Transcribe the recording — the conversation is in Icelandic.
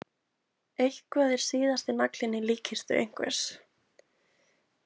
Eitthvað er síðasti naglinn í líkkistu einhvers